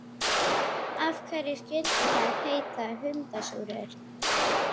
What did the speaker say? Af hverju skyldu þær heita hundasúrur?